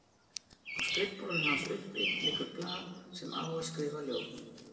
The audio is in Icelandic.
Á skrifborðinu hans uppi liggur blað sem á er skrifað ljóð.